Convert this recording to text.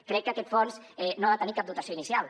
crec que aquest fons no ha de tenir cap dotació inicial